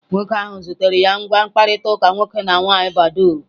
Nwoke ahụ zutere ya na ngwa mkpakọrịta nwoke na nwaanyị badoo.